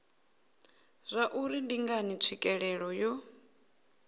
zwauri ndi ngani tswikelelo yo